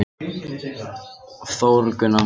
Þórgunna